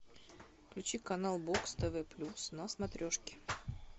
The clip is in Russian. включи канал бокс тв плюс на смотрешке